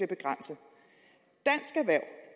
begrænset